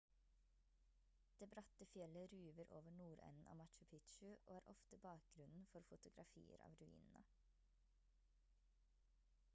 det bratte fjellet ruver over nordenden av machu picchu og er ofte bakgrunnen for fotografier av ruinene